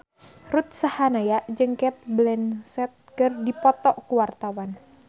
Ruth Sahanaya jeung Cate Blanchett keur dipoto ku wartawan